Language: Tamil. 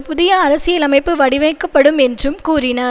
புதிய அரசியலமைப்பு வடிவைக்கப்படும் என்றும் கூறினார்